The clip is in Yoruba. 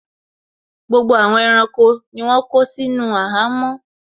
Gbogbo àwọn ẹranko ni wọ́n kó sínú àhámọ́